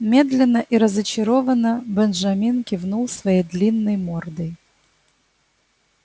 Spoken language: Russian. медленно и разочарованно бенджамин кивнул своей длинной мордой